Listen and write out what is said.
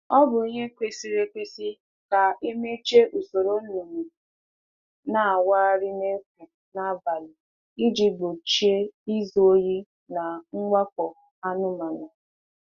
A ghaghị imechi usoro zụ anụ ọkụkọ n’efu n’abalị iji gbochie izu ohi na mwakpo anụ ọhịa.